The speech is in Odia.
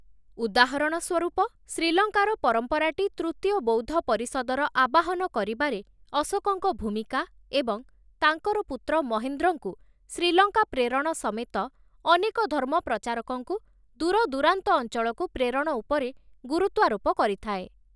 ଉଦାହରଣ ସ୍ୱରୂପ, ଶ୍ରୀଲଙ୍କାର ପରମ୍ପରାଟି ତୃତୀୟ ବୌଦ୍ଧ ପରିଷଦର ଆବାହନ କରିବାରେ ଅଶୋକଙ୍କ ଭୂମିକା ଏବଂ ତାଙ୍କର ପୁତ୍ର ମହେନ୍ଦ୍ରଙ୍କୁ ଶ୍ରୀଲଙ୍କା ପ୍ରେରଣ ସମେତ ଅନେକ ଧର୍ମ ପ୍ରଚାରକଙ୍କୁ ଦୂରଦୂରାନ୍ତ ଅଞ୍ଚଳକୁ ପ୍ରେରଣ ଉପରେ ଗୁରୁତ୍ୱାରୋପ କରିଥାଏ ।